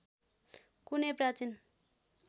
कुनै प्राचीन